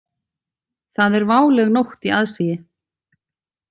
Það er váleg nótt í aðsigi.